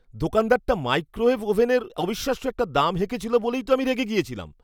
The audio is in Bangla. দোকানদারটা মাইক্রোওয়েভ ওভেনের অবিশ্বাস্য একটা দাম হেঁকেছিল বলেই তো আমি রেগে গেছিলাম।